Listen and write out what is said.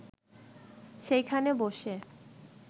সেইখানে বসে